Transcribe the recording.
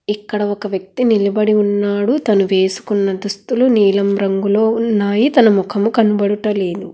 ఇక్కడ ఒక వ్యక్తి నిలబడి ఉన్నాడు తను వేసుకున్న దుస్తులు నీలం రంగులో ఉన్నాయి తన ముఖము కనబడుటలేదు.